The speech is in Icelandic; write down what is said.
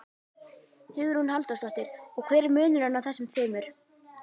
Hugrún Halldórsdóttir: Og hver er munurinn á þessum tveimur?